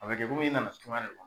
A bɛ kɛ kom'i nana suma de la